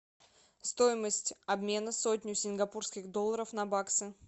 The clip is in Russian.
стоимость обмена сотню сингапурских долларов на баксы